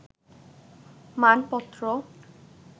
মানপত্র